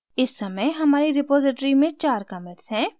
इस समय हमारी repository में चार commits हैं